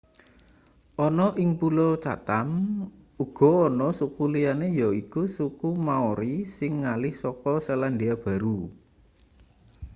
ana ing pulo chatam uga ana suku liyane yaiku suku maori sing ngalih saka selandia baru